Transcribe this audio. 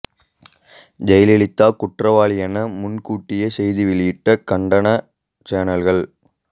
ஜெயலலிதா குற்றவாளி என முன்கூட்டியே செய்தி வெளியிட்ட கன்னட சேனல்கள்